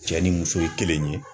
Cɛ ni muso ye kelen.